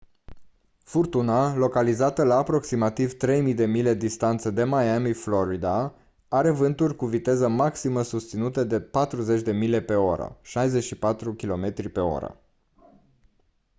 furtuna localizată la aproximativ 3 000 de mile distanță de miami florida are vânturi cu viteză maximă susținută de 40 mph 64 kph